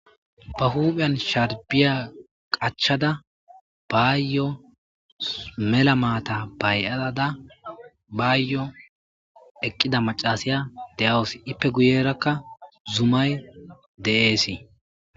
Ba huupheyan sharbiya qachada baayyo mela maata baay'aada baayyo eqqida macasaya de'awus ippe guyerakka zumay de'eesii